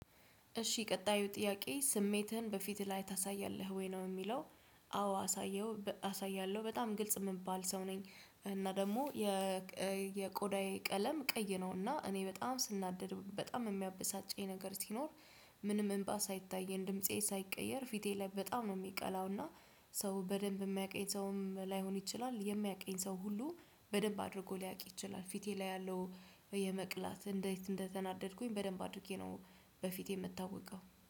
እሺ ቀጣዩ ጥያቄ ስሜትህን በፊትህ ላይ ታሳያለህ ወይ? ነው የሚለው አዎ አሳየው አሳየው አሳያለሁ በጣም ግልጽ የምባል ሰው ነኝ እና ደግሞ የ የቆዳዬ ቀለም ቀይ ነው እና እኔ በጣም ስናደድ በጣም የሚያበሳጨኝ ነገር ሲኖር ምንም እምባ ሳይታየኝ ድምፄ ሳይቀየር ፊቴ ላይ በጣም ነው የሚቀላው እና ሰው በደንብ የሚያውቀኝ ሰውም ላይሆን ይችላል የሚያውቀኝ ሰው ሁሉ በደንብ አድርጎ ሊያውቅ ይችላል ፊቴ ላይ ያለው የመቅላት እንዴት እንደተናደድኩኝ በደንብ አድርጌ ነው በፊቴ የምታውቀው